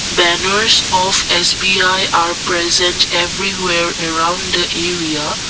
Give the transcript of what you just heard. banners of S_B_I are present everywhere around the area.